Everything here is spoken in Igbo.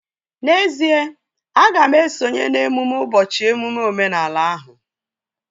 N'ezie, aga m esonye n'emume ụbọchị emume omenala ahụ